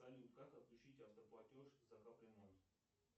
салют как отключить автоплатеж за капремонт